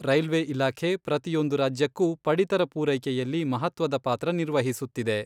Railway ಇಲಾಖೆ ಪ್ರತಿಯೊಂದು ರಾಜ್ಯಕ್ಕೂ ಪಡಿತರ ಪೂರೈಕೆಯಲ್ಲಿ ಮಹತ್ವದ ಪಾತ್ರ ನಿರ್ವಹಿಸುತ್ತಿದೆ.